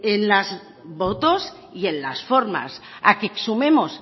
en los votos y en las formas a que exhumemos